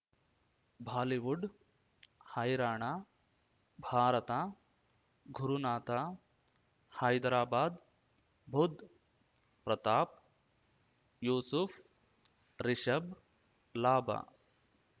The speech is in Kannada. ಭಾಲಿವುಡ್ ಹೈರಾಣ ಭಾರತ ಗುರುನಾಥ ಹೈದರಾಬಾದ್ ಬುಧ್ ಪ್ರತಾಪ್ ಯೂಸುಫ್ ರಿಷಬ್ ಲಾಭ